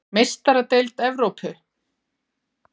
Meistaradeild Evrópu:??